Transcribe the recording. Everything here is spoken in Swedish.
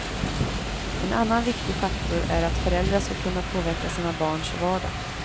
En annan viktig faktor är att föräldrar ska kunna påverka sina barns vardag.